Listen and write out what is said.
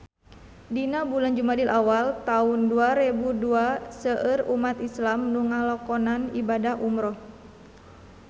Dina bulan Jumadil awal taun dua rebu dua seueur umat islam nu ngalakonan ibadah umrah